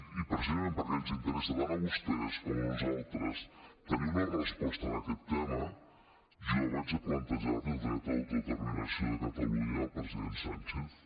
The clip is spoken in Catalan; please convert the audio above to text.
i precisament perquè ens interessa tant a vostès com a nosaltres tenir una resposta en aquest tema jo vaig a plantejar li el dret de l’autodeterminació de catalunya al president sánchez